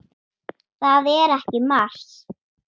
Það er ekki mars.